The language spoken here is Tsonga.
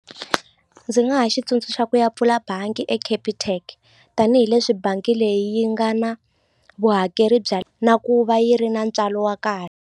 Ndzi nga xi tsundzuxa ku ya pfula bangi e Capitec tanihileswi bangi leyi yi nga na vuhakeri bya na ku va yi ri na ntswalo wa ka.